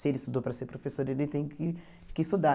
Se ele estudou para ser professor, ele tem que que estudar.